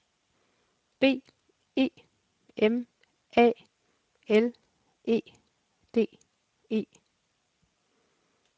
B E M A L E D E